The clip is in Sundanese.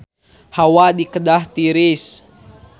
Hawa di Kedah tiris